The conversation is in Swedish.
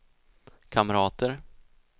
kamrater